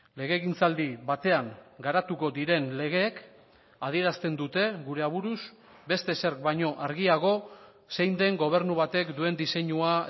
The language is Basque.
legegintzaldi batean garatuko diren legeek adierazten dute gure aburuz beste ezer baino argiago zein den gobernu batek duen diseinua